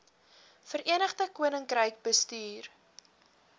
verenigde koninkryk bestuur